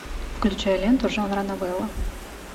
включай ленту жанра новелла